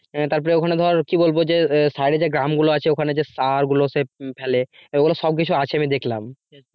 আহ তারপরে ওখানে ধর কি বলব যে ধর সাইডে যে গ্রামগুলো আছে ওখানে যে সারগুলো সে ফেলে এগুলো সব কিছু আছে আমি দেখলাম